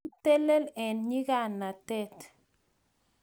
itelel eng nyikanatet